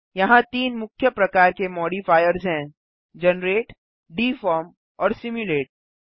यहाँ तीन मुख्य प्रकार के मॉडिफायर्स हैं - जनरेट डिफॉर्म और सिमुलेट